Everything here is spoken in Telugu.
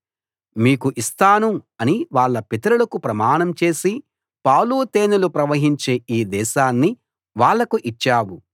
మీకు ఇస్తాను అని వాళ్ళ పితరులకు ప్రమాణం చేసి పాలు తేనెలు ప్రవహించే ఈ దేశాన్ని వాళ్లకు ఇచ్చావు